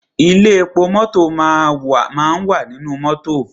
Ilé epo mọ́tọ̀ máa wà nínú mọ́tọ̀.